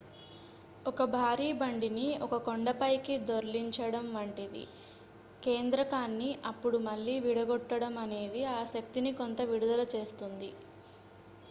ఒక భారీ బండిని ఒక కొండ పైకి దొర్లించడం వంటిది కేంద్రకాన్ని అప్పుడు మళ్లీ విడగొట్టడం అనేది ఆ శక్తిని కొంత విడుదల చేస్తుంది